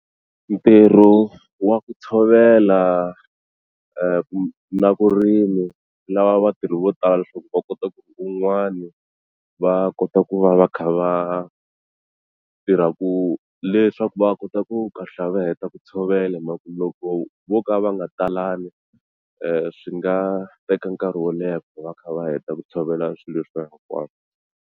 Ntirho wa ku tshovela ku na vurimi swi lava vatirhi vo tala leswaku va kota ku un'wani va kota ku va va kha va tirha ku leswaku va kota ku kahlula va heta ku tshovela hi mhaka ku loko vo ka va nga talangi swi nga teka nkarhi wo leha ku va va kha va heta ku tshovela swilo leswiya hinkwaswo.